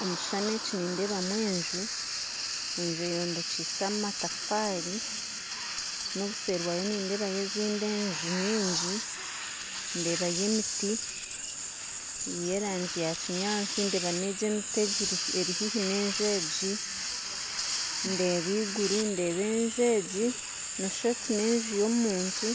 Omu kishuushani eki nindeebamu enju, enju eyombekyise amatafaari n'obuseeri bwayo nindeebayo ezindi enju nyingi ndeebayo emiti y'erangi yakinyaatsi ndeeba n'emiti eri haihi n'enju egi ndeeba iguru ndeeba enju egi noshuusha oti n'enju y'omuntu